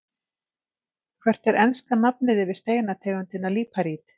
Hvert er enska nafnið yfir steinategundina líparít?